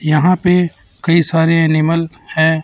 यहां पे कई सारे एनिमल हैं।